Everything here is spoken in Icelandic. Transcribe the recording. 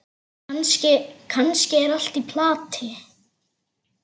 Kannski er allt í plati.